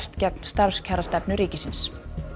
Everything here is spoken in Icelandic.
gegn starfskjarastefnu ríkisins